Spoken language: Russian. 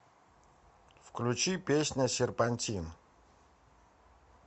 включи песня серпантин